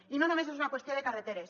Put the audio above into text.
i no només és una qüestió de carreteres